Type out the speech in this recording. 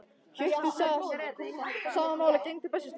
Hjörtur sagði að sama máli gegndi á Bessastöðum.